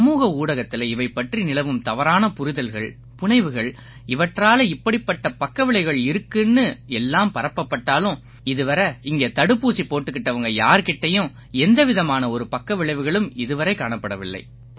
சமூக ஊடகத்தில இவை பற்றி நிலவும் தவறான புரிதல்கள்புனைவுகள் இவற்றால இப்படிப்பட்ட பக்கவிளைவுகள் இருக்குன்னு எல்லாம் பரப்பட்டாலும் இதுவரை இங்கே தடுப்பூசி போட்டுக்கிட்டவங்க யார் கிட்டயும் எந்த விதமான ஒரு பக்கவிளைவுகளும் இதுவரை காணப்படலை